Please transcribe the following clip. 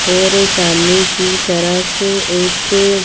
और सामने की तरफ एक--